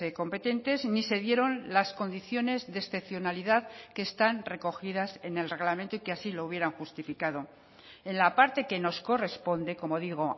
competentes ni se dieron las condiciones de excepcionalidad que están recogidas en el reglamento y que así lo hubieran justificado en la parte que nos corresponde como digo